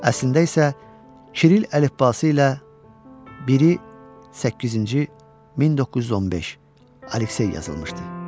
Əslində isə Kiril əlifbası ilə biri 800-cü 1915 Aleksey yazılmışdı.